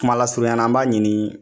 Kumala surunya la an b'a ɲini